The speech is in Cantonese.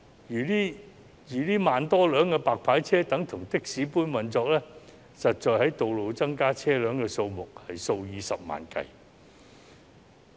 若這1萬多輛"白牌車"等同的士般運作，實際在道路增加的車輛數目是數以十萬計。